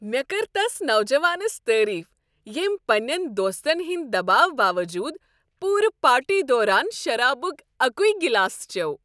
مےٚ كٔر تس نوجوانس تعریف ییٚمۍ پنٛنین دوستن ہنٛدِ دباوٕ باوجود پوٗرٕ پارٹی دوران شرابک اکوے گلاسہٕ چوٚو۔